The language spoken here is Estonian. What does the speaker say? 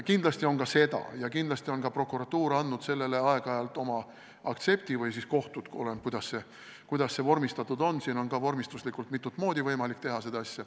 Kindlasti seda on ja kindlasti on ka prokuratuur andnud sellele aeg-ajalt oma aktsepti või siis kohtud – oleneb, kuidas see vormistatud on, ka vormistuslikult on võimalik seda asja mitut moodi võimalik teha.